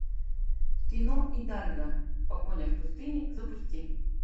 кино идальго погоня в пустыне запусти